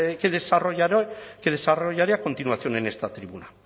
que desarrollaré a continuación en esta tribuna